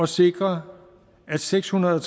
sikre at seks hundrede og